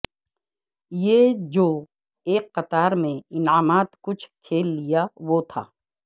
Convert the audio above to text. یہ جو ایک قطار میں انعامات کچھ کھیل لیا وہ تھا